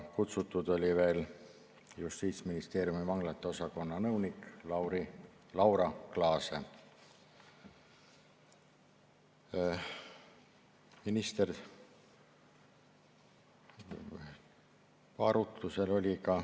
Kutsutud oli veel Justiitsministeeriumi vanglate osakonna nõunik Laura Glaase.